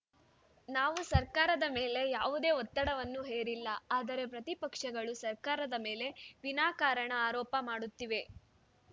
ನಾವು ಸರ್ಕಾರದ ಮೇಲೆ ಯಾವುದೇ ಒತ್ತಡವನ್ನು ಹೇರಿಲ್ಲ ಆದರೆ ಪ್ರತಿಪಕ್ಷಗಳು ಸರ್ಕಾರದ ಮೇಲೆ ವಿನಾಕಾರಣ ಆರೋಪ ಮಾಡುತ್ತಿವೆ